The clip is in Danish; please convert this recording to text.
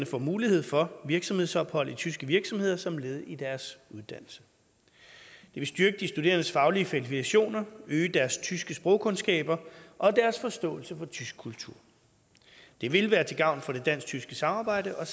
får mulighed for virksomhedsophold i tyske virksomheder som led i deres uddannelse det vil styrke de studerendes faglige kvalifikationer øge deres tyske sprogkundskaber og deres forståelse for tysk kultur det vil være til gavn for det dansk tyske samarbejde og